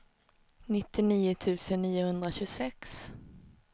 nittionio tusen niohundratjugosex